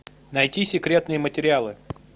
найти секретные материалы